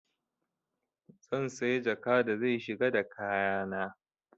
Zan saya jaka da zai shiga da kaya na.